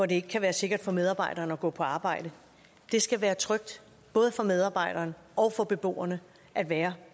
det ikke er sikkert for medarbejderen at gå på arbejde det skal være trygt både for medarbejderne og for beboerne at være